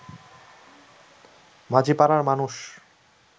মাঝিপাড়ার মানুষ